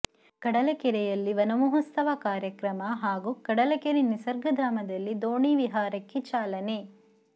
ಕಡಲಕೆರೆಯಲ್ಲಿ ವನಮಹೋತ್ಸವ ಕಾರ್ಯಕ್ರಮ ಹಾಗೂ ಕಡಲಕೆರೆ ನಿಸರ್ಗಧಾಮದಲ್ಲಿ ದೋಣಿ ವಿಹಾರಕ್ಕೆ ಚಾಲನೆ